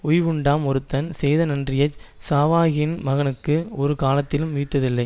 உய்வுண்டாம் ஒருதன் செய்த நன்றியைச் சாவாக்கின மகனுக்கு ஒரு காலத்தினும் உய்தலில்லை